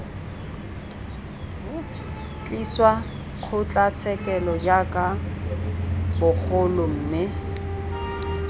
tliswa kgotlatshekelo jaaka bagolo mme